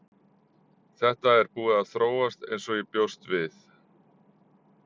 Þetta er búið að þróast eins og ég bjóst við.